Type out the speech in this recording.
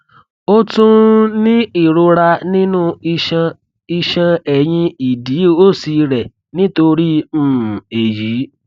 ó tún ń ní ìrora nínú iṣan iṣan ẹyìn ìdí òsì rẹ nítorí um èyí